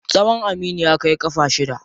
Tsawon Aminu ya kai ƙafa shida.